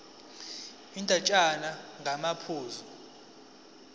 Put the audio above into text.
le ndatshana ngamaphuzu